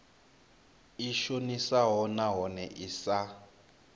i shonisaho nahone i sa